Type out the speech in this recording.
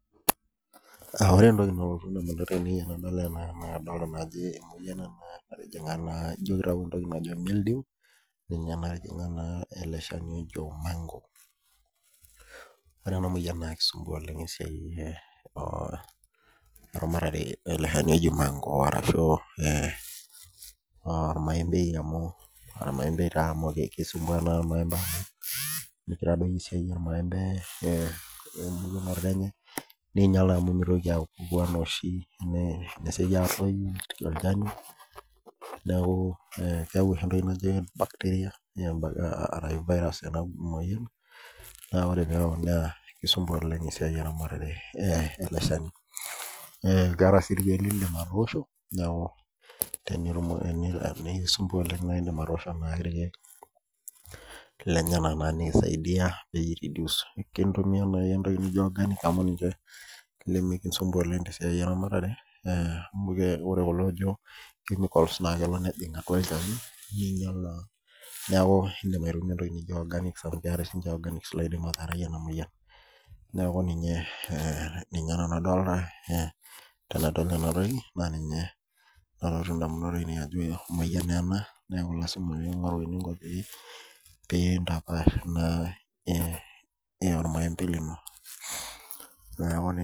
Ore entoki nalotu ndamunot ainei na kadolita ajo emoyian ena natijinga ino kitau entoki najo milddew najing naa eleshani ojo manko ore ena moyian na kinyal eramatare ele shani oji mango ashu ormaembe amu kisumbua ormaembei ninyal amu mesieki atoyu esidia netum entoki naji virus enamoyian n ore peyau na kisumbua eramatare elwshani na kisaidia kitumia entoki naijo organic na ninche limikisumbua tenasiai eramatare amu ore kulo ojo chemicals na kelo ake nejing olchani neaku idim aitumia aitumia entoki naijo organics amu ninche naidim araarai enamoyian neaku ninye nanu adolita tenadol enatoki neaku ninye nalotu ndamunot ainei tanadol ena neaku pintapash ena ormaembei lino neaku